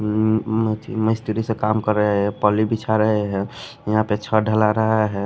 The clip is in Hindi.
उम्म मिस्ट्री से काम कर रहे हैं पली बिछा रहे हैं यहां पे छ ढला रहा है।